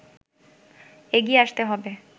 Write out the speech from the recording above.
এগিয়ে আসতে হবে”